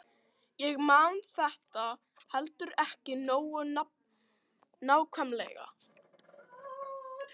Ég man þetta heldur ekki nógu nákvæmlega.